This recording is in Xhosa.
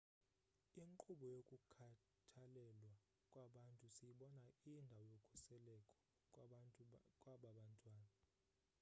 inkqubo yokukhathalelwa kwabantwana siyibona iyindawo yokhuseleko kwaba bantwana